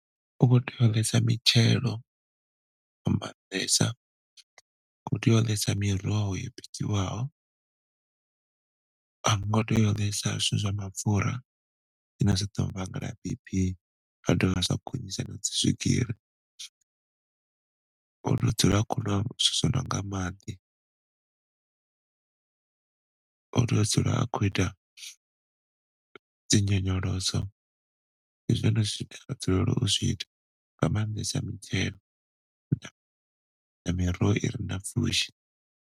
U khou tea u ḽesa mitshelo fhambanesa, khou tea u ḽesa miroho yo bikiwaho hango tea u ḽesa zwithu zwa mapfura zwine zwi ḓo vhangela bp zwa do vha zwa gonyisa dzi swigiri. U tea u dzula a khou ṅwa zwithu zwono nga maḓi. U tea u dzula a khou ita dzi nyonyoloso, ndi zwone zwine atea u dzula u zwi ita zwiṱo nga maanḓesa mitshelo na miroho i re na pfushi.